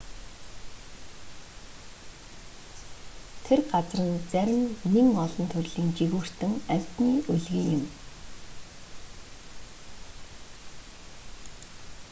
тэр газар нь зарим нэн олон төрлийн жигүүртэн амтны өлгий нь юм